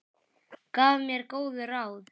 Gaf mér góð ráð.